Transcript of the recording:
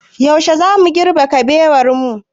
Yaushe zamu girbe kabewar ka?